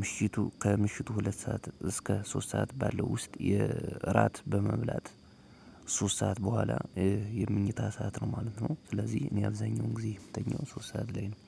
ምሽቱ ከምሽቱ ሁለት ሰዓት እስከ ሶስት ሰዓት ባለው ውስጥ የእራት በመብላት ሶስት ሰዓት በኋላ የመኝታ ሰዓት ነው ማለት ነው። ስለዚህ እኔ አብዛኛውን ጊዜ ምተኛው ሶስት ሰዓት ላይ ነው